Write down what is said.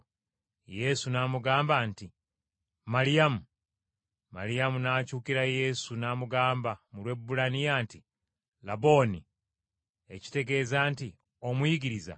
Yesu n’amugamba nti, “Maliyamu!” Maliyamu n’akyukira Yesu n’amugamba mu Lwebbulaniya nti, “Labooni,” ekitegeeza nti, “Omuyigiriza.”